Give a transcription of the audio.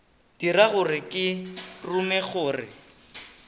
dira gore ke rume gore